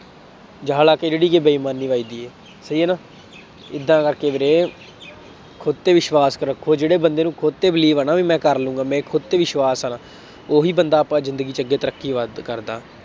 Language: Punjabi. ਜਾਲਾ ਲਾ ਕੇ ਜਿਹੜੀ ਕਿ ਬੇਇਮਾਨੀ ਵੱਜਦੀ ਹੈ। ਸਹੀ ਹੈ ਨਾ, ਏਦਾਂ ਕਰਕੇ ਵੀਰੇ, ਖੁਦ ਤੇ ਵਿਸਵਾਸ ਰੱਖੋ, ਜਿਹੜੇ ਬੰਦੇ ਨੂੰ ਖੁਦ ਤੇ believe ਹੈ ਨਾ ਬਈ ਮੈਂ ਕਰ ਲਊਗਾ, ਮੇਰਾ ਖੁਦ ਤੇ ਵਿਸ਼ਵਾਸ ਆ, ਉਹੀ ਬੰਦਾ ਆਪਾ ਜ਼ਿੰਦਗੀ ਚ ਅੱਗੇ ਤਰੱਕੀ ਵੱਧ ਕਰਦਾ।